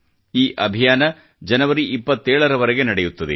ಈ ಅಭಿಯಾನವು ಜನವರಿ 27 ರ ವರೆಗೆ ನಡೆಯುತ್ತದೆ